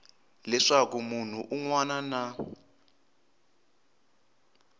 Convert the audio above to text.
leswaku munhu un wana na